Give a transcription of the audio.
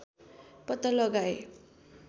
पत्ता लगाए